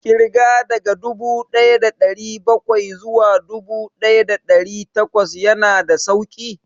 Ƙirga daga dubu ɗaya da ɗari bakwai zuwa dubu ɗaya da ɗari takwas ya na da sauƙi